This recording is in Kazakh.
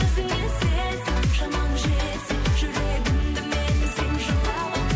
өзіңе сен шамаң жетсе жүрегімді менің сен жаулап ал